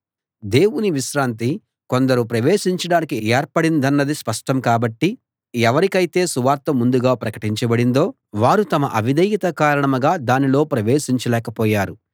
దేవుని విశ్రాంతి కొందరు ప్రవేశించడానికి ఏర్పడిందన్నది స్పష్టం కాబట్టి ఎవరికైతే సువార్త ముందుగా ప్రకటించబడిందో వారు తమ అవిధేయత కారణంగా దానిలో ప్రవేశించలేక పోయారు